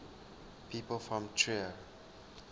people from trier